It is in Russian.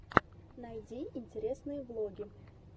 найди интересные влоги